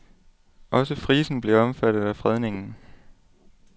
Også frisen bliver omfattet af fredningen.